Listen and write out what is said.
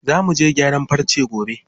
Za muje gyaran farce gobe.